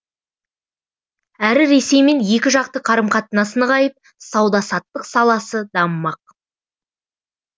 әрі ресеймен екі жақты қарым қатынас нығайып сауда саттық саласы дамымақ